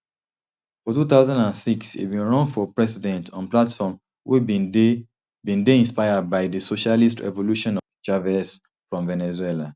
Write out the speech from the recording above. for two thousand and six e bin run for president on platform wey bin dey bin dey inspired by di socialist revolution of chvez from venezuela